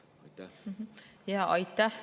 Aitäh!